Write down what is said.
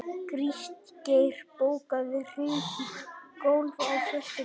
Kristgeir, bókaðu hring í golf á föstudaginn.